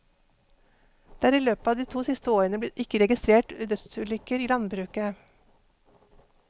Det er i løpet av de to siste årene ikke registrert dødsulykker i landbruket.